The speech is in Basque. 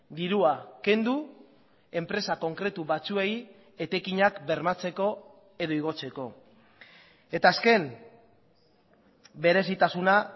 dirua kendu enpresa konkretu batzuei etekinak bermatzeko edo igotzeko eta azken berezitasuna